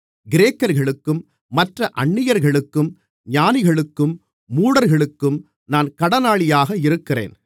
கிரேக்கர்களுக்கும் மற்ற அந்நியர்களுக்கும் ஞானிகளுக்கும் மூடர்களுக்கும் நான் கடனாளியாக இருக்கிறேன்